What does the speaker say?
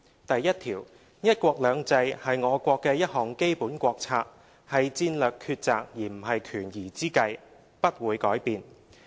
第一條，'一國兩制'是我國的一項基本國策，是戰略抉擇而不是權宜之計，不會改變。